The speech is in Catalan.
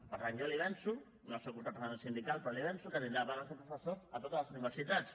per tant jo li avanço no soc un representant sindical però l’hi avanço que tindrà vagues de professors a totes les universitats